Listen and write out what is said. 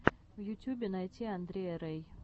в ютюбе найти андрея рэй